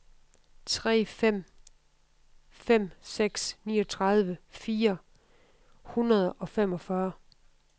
tre fem fem seks niogtredive fire hundrede og femogfyrre